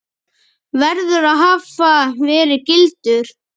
verður að hafa verið gildur.